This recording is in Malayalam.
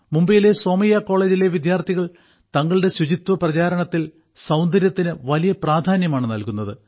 മുംബൈയിലെ സോമയ്യ കോളേജിലെ വിദ്യാർഥികൾ തങ്ങളുടെ ശുചിത്വ പ്രചാരണത്തിൽ സൌന്ദര്യത്തിനു വലിയ പ്രാധാന്യമാണ് നൽകുന്നത്